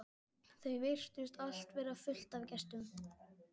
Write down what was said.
Það virtist allt vera fullt af gestum.